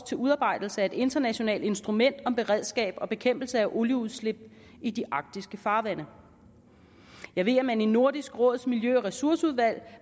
til udarbejdelse af et internationalt instrument om beredskab og bekæmpelse af olieudslip i de arktiske farvande jeg ved at man i nordisk råds miljø og ressourcudvalg